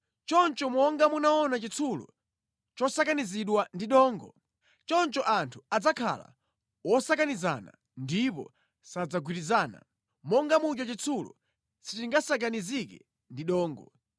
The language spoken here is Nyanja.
Ndipo monga munaona chitsulo chosakanizidwa ndi dongo, choncho anthu adzakhala wosakanizana ndipo sadzagwirizana, monga muja chitsulo sichingasakanizike ndi dongo.